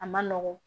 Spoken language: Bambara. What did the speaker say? A ma nɔgɔn